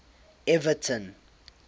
everton